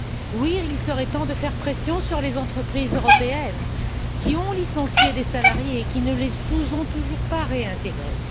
Oui, il serait temps de faire pression sur les entreprises européennes qui ont licencié des salariés et qui ne les ont toujours pas réintégrés.